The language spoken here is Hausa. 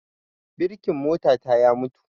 Birkin mota ta ya mutu